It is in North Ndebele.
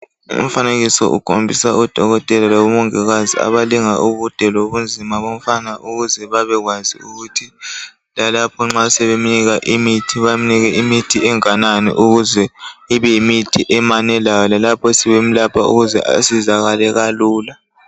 Umfanekiso ukhombisa oDokotela labomongikazi abalinga ubude lobunzima bomfana ukuze babekwazi ukuthi lalapho nxa sebemnika imithi bamnika enganani ukuze ibe ngemanelayo lalapho sebemlapha asizakale kalula